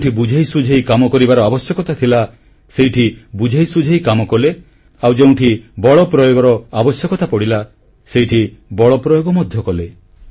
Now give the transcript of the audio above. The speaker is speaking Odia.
ଯେଉଁଠି ବୁଝେଇ ସୁଝେଇ କାମ କରିବାର ଆବଶ୍ୟକତା ଥିଲା ସେଠି ବୁଝେଇ ସୁଝେଇ କାମ କଲେ ଆଉ ଯେଉଁଠି ବଳ ପ୍ରୟୋଗର ଆବଶ୍ୟକତା ପଡ଼ିଲା ସେଠାରେ ବଳ ପ୍ରୟୋଗ ମଧ୍ୟ କଲେ